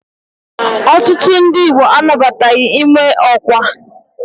Ọtụtụ ndi Igbo anabataghi ime ọkwa.